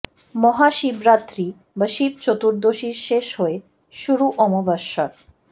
মহা শিবরাত্রি বা শিব চতুর্দশীর শেষ হয়ে শুরু অমাবস্যার